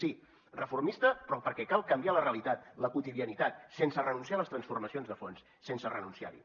sí reformista però perquè cal canviar la realitat la quotidianitat sense renunciar a les transformacions de fons sense renunciarhi